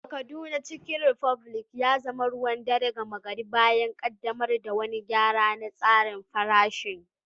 A Kaduna, Chicken republic ya zama ruwan dare gama gari bayan ƙaddamar da wani gyara na tsarin farashin.